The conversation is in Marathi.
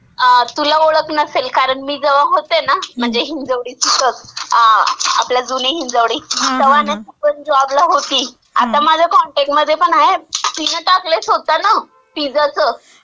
अं, तुला ओळख नसेल कारण, मी जवा होते ना, म्हणजे हिंजवडीचीच.म्हणजे आपल्या जुनी हिंजवडी, तवा नंदा पण जॉबला होती. आता म्हणजे कॉनटॅक्ट मध्ये पण आहे, तिनं टाकलंय स्वतःनं पिझ्झाचं.